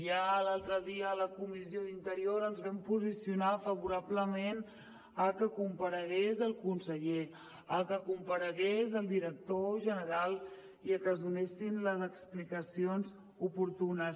ja l’altre dia a la comissió d’interior ens vam posicionar favorablement a que comparegués el conseller a que comparegués el director general i a que es donessin les explicacions oportunes